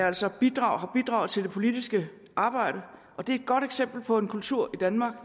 altså bidraget til det politiske arbejde og det er et godt eksempel på en kultur i danmark